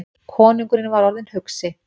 Konungurinn var orðinn hugsi.